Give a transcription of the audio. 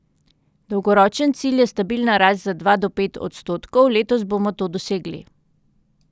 Dolgoročen cilj je stabilna rast za dva do pet odstotkov, letos bomo to dosegli.